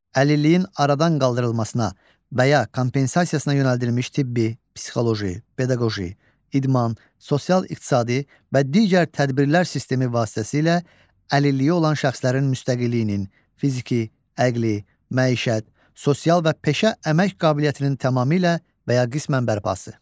Əlilliyin aradan qaldırılmasına və ya kompensasiyasına yönəldilmiş tibbi, psixoloji, pedaqoji, idman, sosial-iqtisadi və digər tədbirlər sistemi vasitəsilə əlilliyi olan şəxslərin müstəqilliyinin, fiziki, əqli, məişət, sosial və peşə əmək qabiliyyətinin tamamilə və ya qismən bərpası.